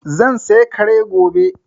Zan saya Kare gobe